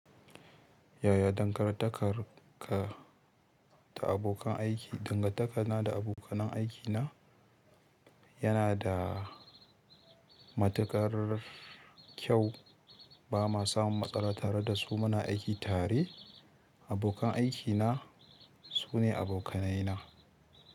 Yaya dangantakar ka da abokan aiki? Dangantakar na da abokan aiki na yana da matuƙar kyau. Ba ma samun matsala tare da su. Muna aiki tare. Abokan aiki na su ne abokanai na.